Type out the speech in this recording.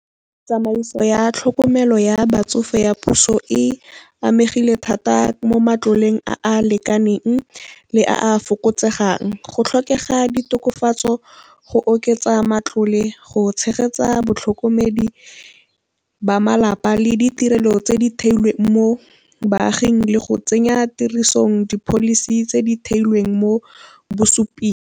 Tsamaiso ya tlhokomelo ya batsofe ya puso e amegile thata mo matloleng a a lekaneng le a a fokotsegang. Go tlhokega ditokafatso go oketsa matlole go tshegetsa batlhokomedi ba malapa le ditirelo tse di theilweng mo baaging, le go tsenya tirisong di-policy tse di theilweng mo bosuping.